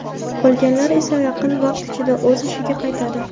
Qolganlar esa yaqin vaqt ichida o‘z ishiga qaytadi.